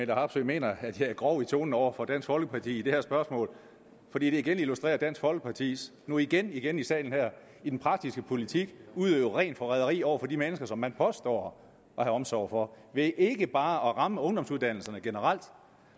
harpsøe mener at jeg er grov i tonen over for dansk folkeparti i det her spørgsmål fordi det igen illustrerer at dansk folkeparti nu igen igen i salen her i den praktiske politik udøver rent forræderi over for de mennesker som man påstår at have omsorg for ved ikke bare at ramme ungdomsuddannelserne generelt